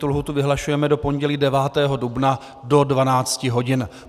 Tu lhůtu vyhlašujeme do pondělí 9. dubna do 12 hodin.